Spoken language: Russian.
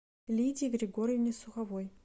лидии григорьевне суховой